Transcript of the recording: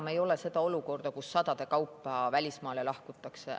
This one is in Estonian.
Meil ei ole enam see olukord, kus sadade kaupa välismaale lahkutakse.